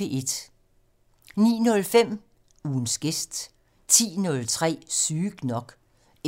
09:05: Ugens gæst 10:03: Sygt nok